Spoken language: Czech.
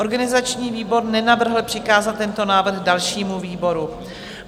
Organizační výbor nenavrhl přikázat tento návrh dalšímu výboru.